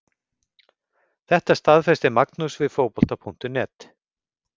Þetta staðfesti Magnús við Fótbolta.net.